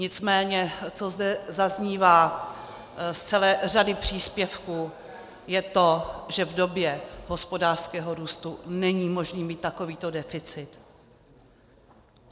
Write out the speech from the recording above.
Nicméně co zde zaznívá z celé řady příspěvků, je to, že v době hospodářského růstu není možné mít takovýto deficit.